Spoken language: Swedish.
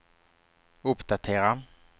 uppdatera